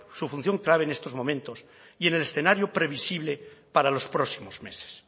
su función clave en estos momentos y en el escenario previsible para los próximos meses